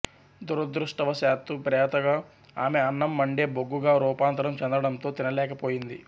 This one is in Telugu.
దురదృష్టవశాత్తు ప్రేతగా ఆమె అన్నం మండే బొగ్గుగా రూపాంతరం చెందడంతో తినలేకపోయింది